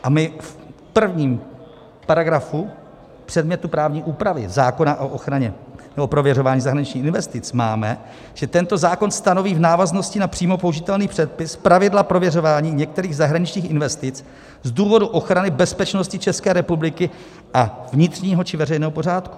A my v prvním paragrafu předmětu právní úpravy zákona o ochraně nebo prověřování zahraničních investic máme, že tento zákon stanoví v návaznosti na přímo použitelný předpis pravidla prověřování některých zahraničních investic z důvodu ochrany bezpečnosti České republiky a vnitřního či veřejného pořádku.